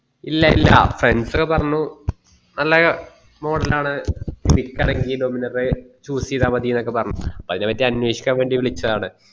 ഇല്ല ഇല്ലാ friends പറഞ്ഞു നല്ല model ആണ എടക്കുവണേല് dominar choose ചെയ്താ മതീന്ന് ഒക്കെ പറഞ്ഞു അപ്പൊ അയന പറ്റി അനേഷിക്കാൻ വേണ്ടി വിളിച്ചതാണ്